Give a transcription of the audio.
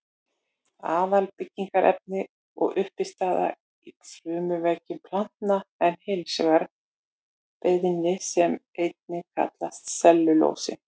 Aðalbyggingarefni og uppistaða í frumuveggjum planta er hins vegar beðmi sem einnig kallast sellulósi.